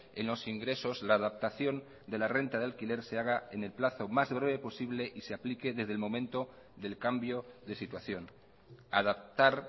en los ingresos la adaptación de la renta de alquiler se haga en el plazo más breve posible y se aplique desde el momento del cambio de situación adaptar